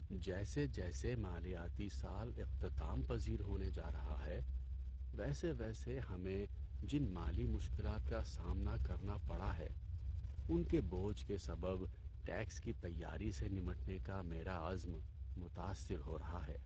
جیسے جیسے مالیاتی سال اختتام پذیر ہونے جا رہا ہے، ویسے ویسے ہمیں جن مالی مشکلات کا سامنا کرنا پڑا ہے ان کے بوجھ کے سبب ٹیکس کی تیاری سے نمٹنے کا میرا عزم متاثر ہو رہا ہے۔